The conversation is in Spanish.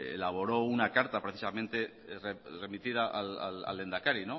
elaboró una carta precisamente remitida al lehendakari